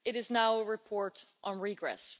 It is now a report on regress.